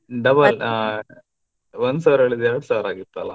Double ಹ ಒಂದ್ ಸಾವಿರ ಹೇಳಿದ್ದು ಎರಡು ಸಾವಿರ ಆಗಿತ್ತಲ್ಲ.